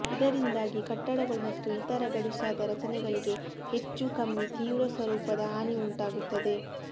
ಇದರಿಂದಾಗಿ ಕಟ್ಟಡಗಳು ಮತ್ತು ಇತರ ಗಡುಸಾದ ರಚನೆಗಳಿಗೆ ಹೆಚ್ಚೂ ಕಮ್ಮಿ ತೀವ್ರಸ್ವರೂಪದ ಹಾನಿಯುಂಟಾಗುತ್ತದೆ